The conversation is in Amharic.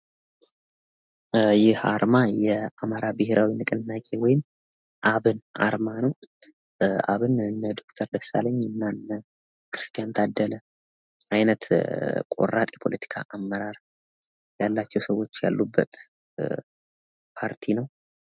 ይህ አርማ የአማራ ብሄራዊ ንቅናቄ ወይም አብን አርማ ነው። እንደ ዶክተር ደሳለኝ እና እንደ ክስቲያን ታደለ አይነት ቆራጥ የሆነ ፖለቲካ አመራር ያላቸው ሰዎች ያሉበት ፓርቲ ነው።